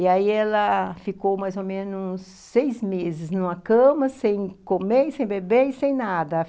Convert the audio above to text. E aí ela ficou mais ou menos seis meses numa cama, sem comer, sem beber e sem nada.